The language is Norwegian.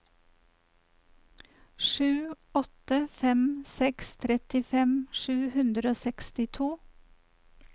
sju åtte fem seks trettifem sju hundre og sekstito